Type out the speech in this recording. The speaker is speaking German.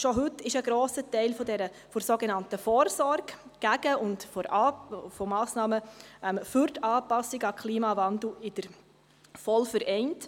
Schon heute ist ein grosser Teil der sogenannten «Vorsorge gegen» und der «Massnahmen für die Anpassung an» den Klimawandel in der VOL vereint.